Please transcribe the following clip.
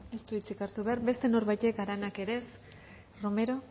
ez du hitzik hartu behar beste norbaitek aranak ere ez romero